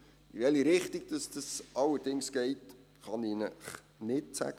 In welche Richtung das allerdings geht, kann ich Ihnen nicht sagen.